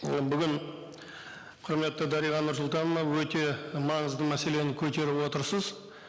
і бүгін құрметті дариға нурсултановна өте маңызды мәселені көтеріп отырсыз